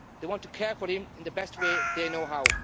they want to care for him in the best way they know how.